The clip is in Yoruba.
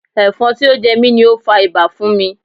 Ẹ̀fọn tí ó jẹ mi ni ó fa ibà fún mi.